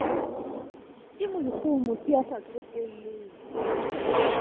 ke moikgohomosi ya sa tsotelleng